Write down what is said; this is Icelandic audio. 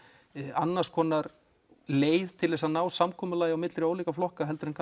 annars konar leið til að ná samkomulagi á milli ólíkra flokka heldur en